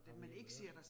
Og i øvrigt